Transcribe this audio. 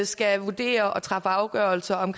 skal vurdere og træffe afgørelser om